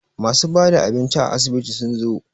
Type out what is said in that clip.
masu bada abinci a asibitin sun zo